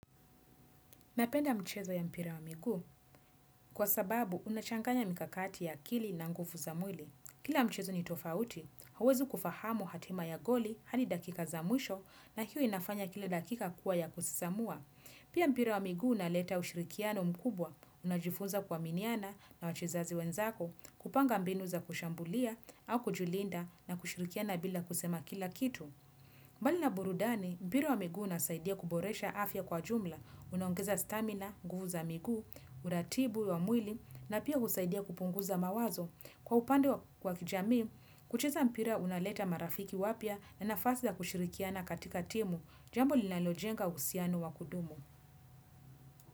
Napenda mchezo ya mpira wa miguu kwa sababu unachanganya mikakati ya akili na nguvu za mwili. Kila mchezo ni tofauti, huwezi kufahamu hatima ya goli hadi dakika za mwisho na hiyo inafanya kila dakika kuwa ya kusisamua. Pia mpira wa miguu unaleta ushirikiano mkubwa, unajifunza kuaminiana na wachezaji wenzako, kupanga mbinu za kushambulia au kujilinda na kushirikiana bila kusema kila kitu. Mbali na burudani, mpira wa miguu unasaidia kuboresha afya kwa jumla, unaongeza stamina, nguvu za miguu, uratibu wa mwili na pia husaidia kupunguza mawazo. Kwa upande wa kijamii, kucheza mpira unaleta marafiki wapya, na nafasi ya kushirikiana katika timu, jambo linalojenga uhusiano wa kudumu.